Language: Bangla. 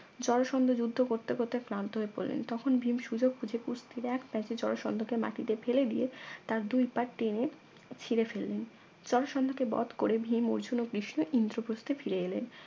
জরাসন্ধ যুদ্ধ করতে করতে ক্লান্ত হয়ে পড়লেন তখন ভীম সুযোগ বুঝে কুস্তির এক প্যাঁচে জরাসন্ধকে মাটিতে ফেলে দিয়ে তার দুই পা টেনে ছিঁড়ে ফেললেন জরাসন্ধকে বধ করে ভীম অর্জুন ও কৃষ্ণ ইন্দ্রপ্রস্থে ফিরে এলেন